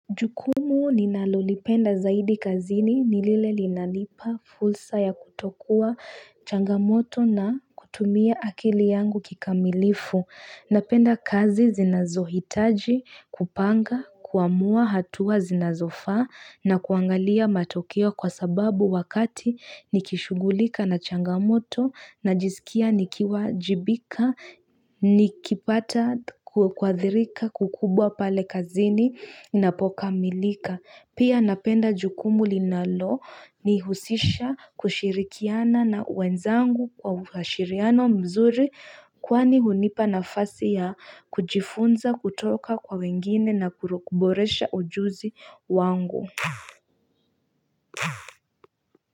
Jukumu ninalolipenda zaidi kazini nilile linalipa fursa ya kutokua changamoto na kutumia akili yangu kikamilifu. Napenda kazi zinazohitaji kupanga kuamua hatua zinazofa na kuangalia matokio kwa sababu wakati nikishughulika na changamoto najisikia nikiwa jibika nikipata kwa athirika kukubwa pale kazini napoka milika Pia napenda jukumu linalo nihusisha kushirikiana na wenzangu kwa shiriano mzuri Kwani hunipa nafasi ya kujifunza kutoka kwa wengine na kurokuboresha ujuzi wangu.